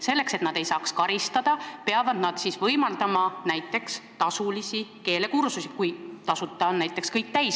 Selleks, et nad ei saaks karistada, peavad nad võimaldama töötajatele näiteks tasulisi keelekursusi, kui tasuta kohad on kõik täis.